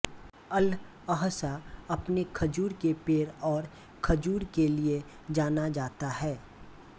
Al Ahsa अपने खजूर के पेड़ और खजूर के लिए जाना जाता है